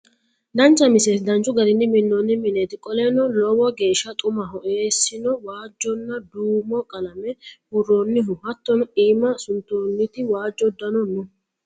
Daancha miisletti daanchu gaarini miinonii miinetti kooleno loowo geesha xuumaho essino waajona duumo qaalame buuronihoo hattono imma suuntonniti waajo uudano noo.